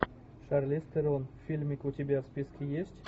шарлиз терон фильмик у тебя в списке есть